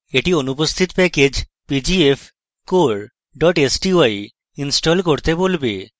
এটি অনুপস্থিত package pgfcore sty install করতে বলবে